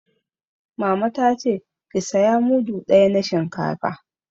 Mama ta ce 'Ki saya mudu ɗaya na shinkafa'!